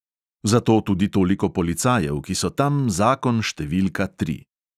Zato tudi toliko policajev, ki so tam zakon številka tri.